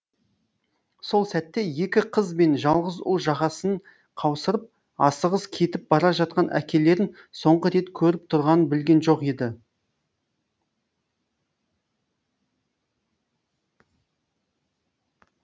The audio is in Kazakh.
сол сәтте екі қыз бен жалғыз ұл жағасын қаусырып асығыс кетіп бара жатқан әкелерін соңғы рет көріп тұрғанын білген жоқ еді